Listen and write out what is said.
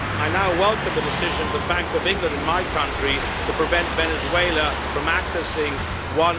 I now welcome the decision of the Bank of England in my country to prevent Venezuela from accessing USD